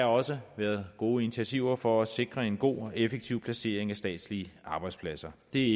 også været gode initiativer for at sikre en god og effektiv placering af statslige arbejdspladser det